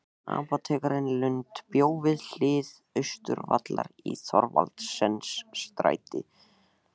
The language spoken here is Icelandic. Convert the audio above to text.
Apótekari Lund bjó við hlið Austurvallar í Thorvaldsensstræti